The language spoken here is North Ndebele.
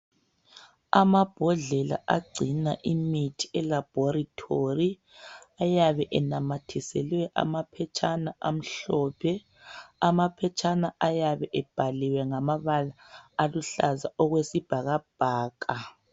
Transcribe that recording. Amabhodlela agcina imithi elaboratory. Ayabe enamathiselwe amapheshana amahlophe , amapheshana ayabe ebhaliwe ngamabala aluhlaza okwesibhakabhaka.